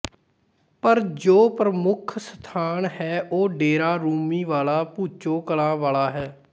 ਪਰ ਜੋ ਪ੍ਰਮੁੱਖ ਸਥਾਨ ਹੈ ਉਹ ਡੇਰਾ ਰੂੰਮੀ ਵਾਲਾ ਭੁੱਚੋ ਕਲਾਂ ਵਾਲਾ ਹੈ